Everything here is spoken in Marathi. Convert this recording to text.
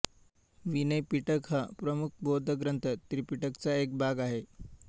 विनयपिटक हा प्रमुख बौद्ध ग्रंथ त्रिपिटकचा एक भाग आहे